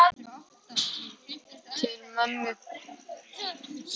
Til mömmu.